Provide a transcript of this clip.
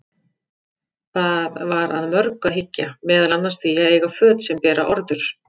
Það var að mörgu að hyggja, meðal annars því að eiga föt sem bera orður.